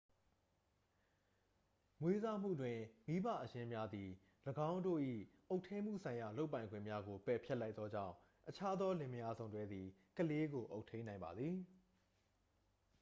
မွေးစားမှုတွင် မိဘအရင်းများသည် ၎င်းတို့၏အုပ်ထိန်းမှုဆိုင်ရာလုပ်ပိုင်ခွင့်များကို ပယ်ဖျက်လိုက်သောကြောင့် အခြားသောလင်မယားစုံတွဲသည် ကလေးကို အုပ်ထိန်းနိုင်ပါသည်